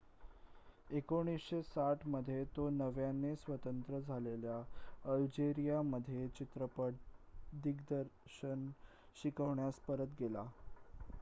1960 मध्ये तो नव्याने स्वतंत्र झालेल्या अल्जेरिया मध्ये चित्रपट दिग्दर्शन शिकवण्यास परत गेला